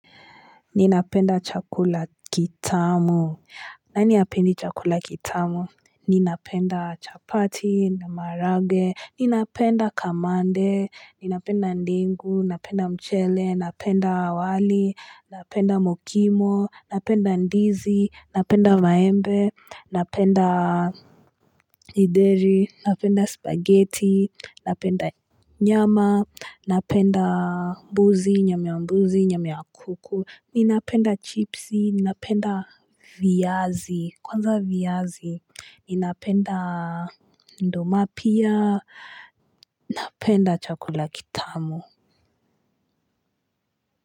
Ninapenda chakula kitamu. Nani hapendi chakula kitamu? Ninapenda chapati, na maharage, ninapenda kamande, ninapenda ndengu, napenda mchele, napenda wali, napenda mokimo, napenda ndizi, napenda maembe, napenda gideri, napenda spaghetti, napenda nyama, napenda mbuzi, nyama mbuzi, nyama kuku. Ninapenda chipsi, ninapenda viazi, kwanza viazi, ninapenda ndoma pia, napenda chakula kitamu.